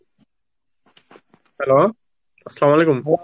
hello আসসালাম আলাইকুম,